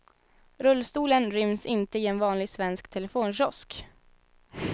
Rullstolen ryms inte i en vanlig svensk telefonkiosk.